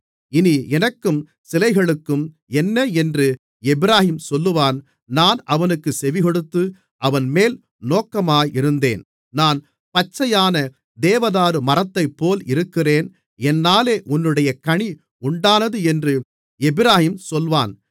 இனி எனக்கும் சிலைகளுக்கும் என்ன என்று எப்பிராயீம் சொல்வான் நான் அவனுக்குச் செவிகொடுத்து அவன்மேல் நோக்கமாயிருந்தேன் நான் பச்சையான தேவதாரு மரத்தைப்போல் இருக்கிறேன் என்னாலே உன்னுடைய கனி உண்டானது என்று எப்பிராயீம் சொல்வான்